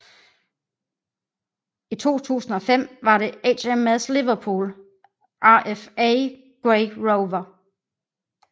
I 2005 var det HMS Liverpool RFA Grey Rover